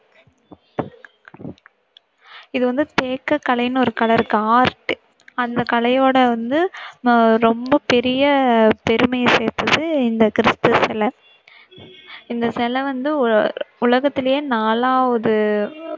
இது வந்து தேக்க கலைன்னு ஒரு கலை இருக்கு art அந்த கலையோட வந்து ரொம்ப பெரிய பெருமையை சேர்த்தது இந்த கிறிஸ்து சிலை. இந்த சிலை வந்து உலகத்துலேயே நாலாவது